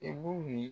E b'u mi